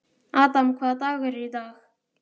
Adam, hvaða dagur er í dag?